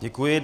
Děkuji.